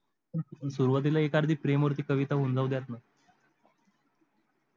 सुरवातीला एक अर्धी प्रेम वर कविता होऊन जाऊद्या ना